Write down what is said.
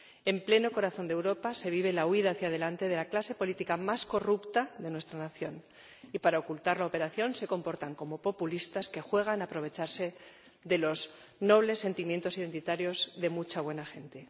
En pleno corazón de Europa se vive la huida hacia delante de la clase política más corrupta de nuestra nación y, para ocultar la operación, se comportan como populistas que juegan a aprovecharse de los nobles sentimientos identitarios de mucha buena gente.